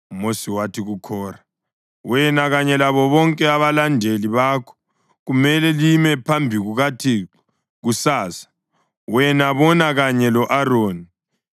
UMosi wathi kuKhora, “Wena kanye labo bonke abalandeli bakho kumele lime phambi kukaThixo kusasa, wena, bona kanye lo-Aroni.